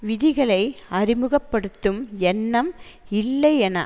விதிகளை அறிமுக படுத்தும் எண்ணம் இல்லை என